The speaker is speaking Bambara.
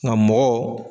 Nka mɔgɔ